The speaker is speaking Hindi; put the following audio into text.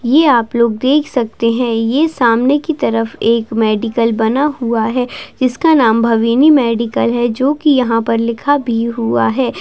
ये आप लोग देख सकते है ये सामने की तरफ एक मेडिकल बना हुआ है जिसका नाम भविनी मेडिकल है जो की यहाँ पर लिखा भी हुआ है।